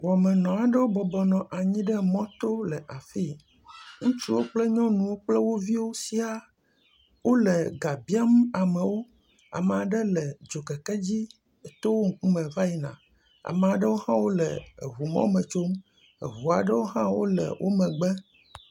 Wɔmenɔ aɖewo bɔbɔnɔ anyi ɖe mɔto le afii, ŋutsuwo kple nyɔnuwo kple wo viwo siaa, wole ga biam amewo, ame aɖe le dzokeke dzi eto wo ŋkume va yina, ame aɖewo hã le ŋu mɔ me tsom, ŋu aɖewo hã le wo megbe.